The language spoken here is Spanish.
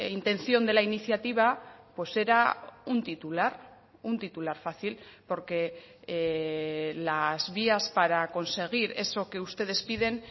intención de la iniciativa pues era un titular un titular fácil porque las vías para conseguir eso que ustedes piden